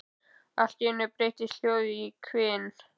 Allt í einu breytist hljóðið í hvin.